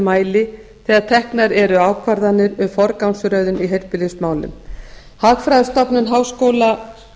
fór hljóðið endanlega svo ég gefst upp það voru tvær mínútur eftir hagfræðistofnun háskóla